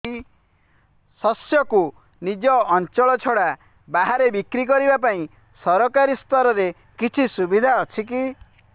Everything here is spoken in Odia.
ଶସ୍ୟକୁ ନିଜ ଅଞ୍ଚଳ ଛଡା ବାହାରେ ବିକ୍ରି କରିବା ପାଇଁ ସରକାରୀ ସ୍ତରରେ କିଛି ସୁବିଧା ଅଛି କି